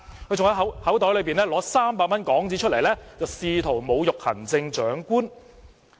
他更從口袋取出300港元，試圖侮辱行政長官。